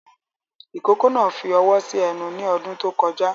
Ìkókó náà fi ọwọ́ sí ẹnu ní ọdún tó kọjá